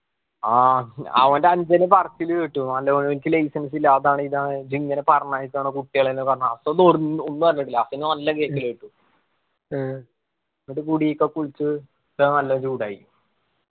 ആഹ് അവൻ്റെ അനുജന് work ലു കിട്ടും ഓനിക്ക് license ഇല്ല അതാണ് ഇതാണ് ദിങ്ങനെ പറഞ്ഞയക്കണോ കുട്ടികളെ ന്നു പറഞ്ഞു ഹസ്സൻ ഒന്നും അറിഞ്ഞിട്ടില്ല ഹസ്സന് നല്ല കേക്കല് കിട്ടും എന്നിട്ട് മുടിയൊക്കെ കുളിച്ച് ത്ര നല്ല ചൂടായി